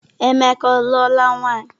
Emeka ọ luola nwaanyị?